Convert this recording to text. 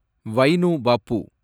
wine Pappu